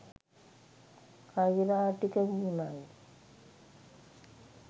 කෛරාටික වීමයි.